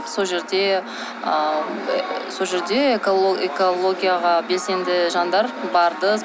сол жерде ыыы сол жерде экологияға белсенді жандар барды